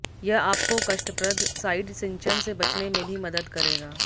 यह आपको कष्टप्रद साइड सिंचन से बचने में भी मदद करेगा